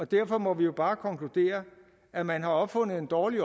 derfor må vi jo bare konkludere at man har opfundet en dårlig